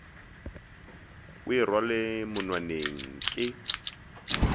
o e rwale monwaneng ke